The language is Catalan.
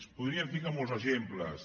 en podríem ficar molts exemples